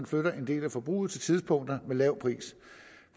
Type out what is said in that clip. flytter en del af forbruget til tidspunkter med lav pris